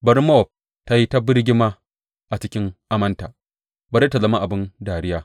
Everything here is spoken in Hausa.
Bari Mowab tă yi ta birgima a cikin amanta; bari tă zama abin dariya.